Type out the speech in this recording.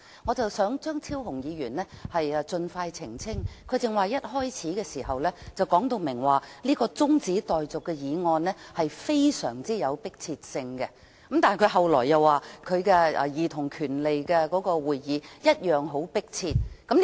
我想張超雄議員盡快作出澄清，他剛才一開始便明言這項中止待續的議案非常迫切，但他後來又說他的兒童權利小組委員會會議同樣迫切。